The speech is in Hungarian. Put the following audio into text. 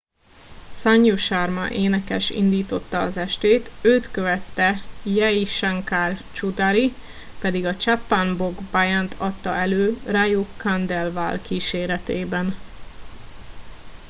sanju sharma énekes indította az estét őt követte jai shankar choudhary pedig a chhappan bhog bhajant adta elő raju khandelwal kíséretében